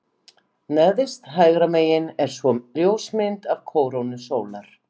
Neðst hægra megin er svo ljósmynd af kórónu sólar.